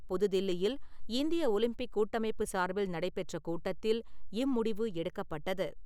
புது தில்லியில் இந்திய ஒலிம்பிக் கூட்டமைப்பு சார்பில் நடைபெற்ற கூட்டத்தில் இம்முடிவு எடுக்கப்பட்டது.